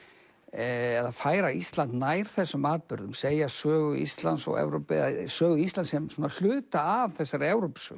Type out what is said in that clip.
eða færa Ísland nær þessum atburðum að segja sögu Íslands og Evrópu eða sögu Íslands sem hluta af þessari